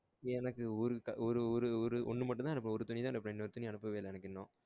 எனக்கு ஒருட்டா ஒரு ஒரு ஒரு ஒன்னு மட்டும் தா எனக்கு இன்னொரு துணி அனுப்பவே இல்ல எனக்கு இன்னும்